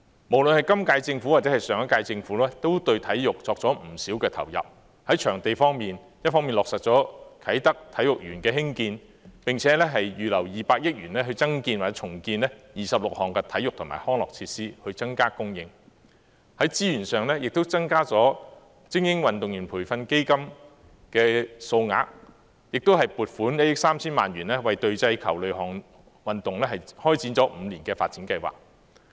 無論今屆或上屆政府，也對體育作出不少投入：在場地方面，一方面落實興建啟德體育園，並且預留200億元增建或重建26項體育及康樂設施，增加供應；在資源上，亦增加精英運動員培訓基金的數額，並撥款1億 3,000 萬元為隊際球類運動開展了5年的發展計劃。